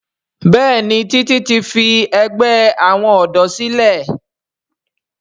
Béèni Titi ti fí àgbè àwọn odò sílè.